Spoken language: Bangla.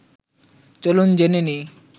চলুন জেনে নিই